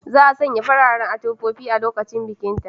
Za a sanya fararen atamfofi a lokacin bikinta.